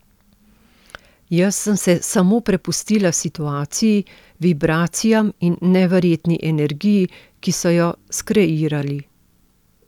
Jaz sem se samo prepustila situaciji, vibracijam in neverjetni energiji, ki so jo skreirali.